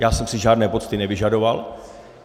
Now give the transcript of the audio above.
Já jsem si žádné pocty nevyžadoval.